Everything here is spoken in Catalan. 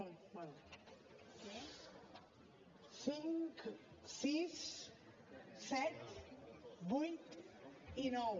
bé cinc sis set vuit i nou